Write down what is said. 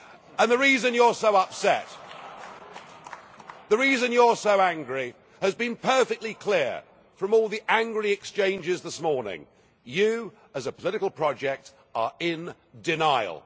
And the reason you are so upset, the reason you are so angry, has been perfectly clear from all the angry exchanges this morning you, as a political project, are in denial.